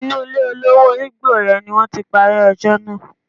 Inú ilé olówó igbó yẹn ni wọ́n ti parí ẹjọ́ náà.